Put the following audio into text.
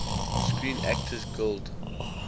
screen actors guild